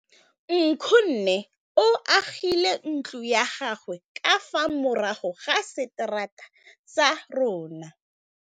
Nkgonne o agile ntlo ya gagwe ka fa morago ga seterata sa rona.